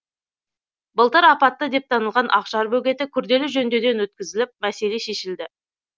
былтыр апатты деп танылған ақжар бөгеті күрделі жөндеуден өткізіліп мәселе шешілді